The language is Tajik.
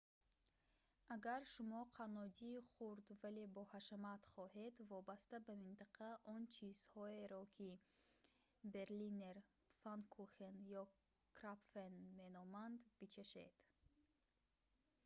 агар шумоканнодии хурд вале боҳашамат хоҳед вобаста ба минтақа он чизҳоеро ки берлинер пфаннкухен ё крапфен меноманд бичашед